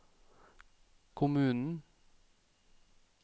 kommunen